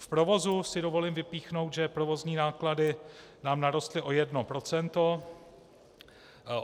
V provozu si dovolím vypíchnout, že provozní náklady nám narostly o jedno procento.